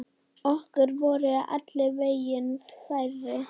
Okkur voru allir vegir færir.